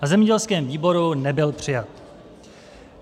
Na zemědělském výboru nebyl přijat.